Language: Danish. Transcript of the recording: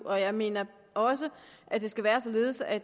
og jeg mener også at det skal være således at